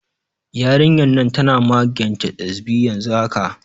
Yarinyan nan tana magance ƙesbi yanzu haka